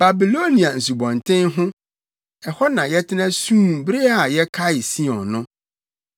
Babilonia nsubɔnten ho, ɛhɔ na yɛtena suu bere a yɛkaee Sion no.